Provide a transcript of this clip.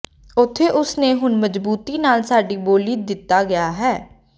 ਉੱਥੇ ਉਸ ਨੇ ਹੁਣ ਮਜ਼ਬੂਤੀ ਨਾਲ ਸਾਡੀ ਬੋਲੀ ਦਿੱਤਾ ਹੈ ਗਿਆ ਹੈ